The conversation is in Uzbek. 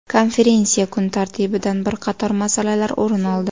Konferensiya kun tartibidan bir qator masalalar o‘rin oldi.